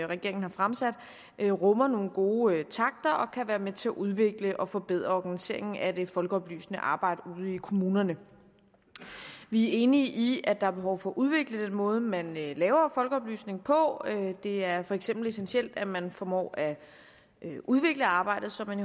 regeringen har fremsat rummer nogle gode takter og kan være med til at udvikle og forbedre organiseringen af det folkeoplysende arbejde ude i kommunerne vi er enige i at der er behov for at udvikle den måde man laver folkeoplysning på det er for eksempel essentielt at man formår at udvikle arbejdet så man